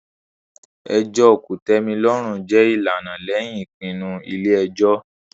ẹjọ́ kòtẹ́milọ́rùn jẹ́ ìlànà lẹ́yìn ìpinnu ilé ẹjọ́.